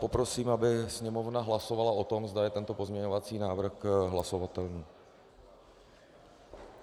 Poprosím, aby Sněmovna hlasovala o tom, zda je tento pozměňovací návrh hlasovatelný.